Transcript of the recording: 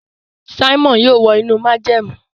Simon yóò wọ inú májẹ̀mú.